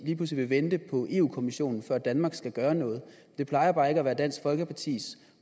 lige pludselig vil vente på europa kommissionen før danmark skal gøre noget det plejer bare ikke at være dansk folkepartis